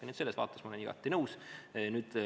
Nii et selles vaates ma olen igati nõus.